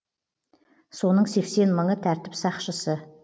соның сексен мыңы тәртіп сақшысы